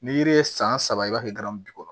Ni yiri ye san saba i b'a kɛ bi kɔnɔ